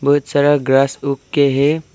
बहुत सारा ग्रास उग के हैं।